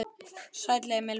Sæll, Emil minn.